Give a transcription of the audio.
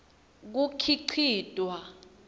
kukhicitwa